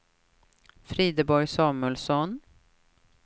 Frideborg Samuelsson